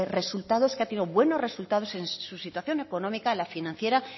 resultados que ha tenido buenos resultados en su situación económica en la financiera